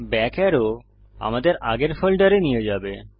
back আরো আমাদের আগের ফোল্ডারে নিয়ে যাবে